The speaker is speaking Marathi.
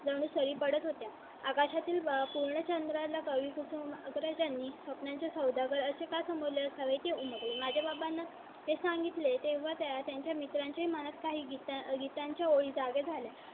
जणू सरी पडत होते. आकाशा तील पूर्ण चंद्रा ला कवी कुसुमाग्रज यांनी स्वप्नांचे सौदागर असे का समूळ माझ्या बाबांना ते सांगितले तेव्हा त्यांच्या मित्रांचे म्हणत काही गीतांच्या ओळी जागे झाले. कुणाला चांदणे शिंपीत.